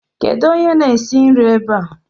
Kedu onye na-esi nri ebe ạ?